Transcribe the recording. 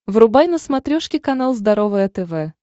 врубай на смотрешке канал здоровое тв